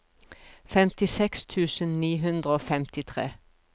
femtiseks tusen ni hundre og femtifire